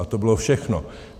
A to bylo všechno.